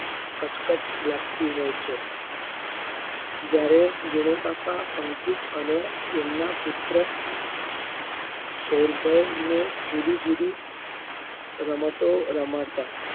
કચકચ લાગતી હોય છે. જયારે વિનુકાકા અંકિત અને એમના પુત્ર સૌરભને જુદી જુદી રમતો રમાડતા